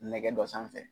Nɛgɛ dɔ sanfɛ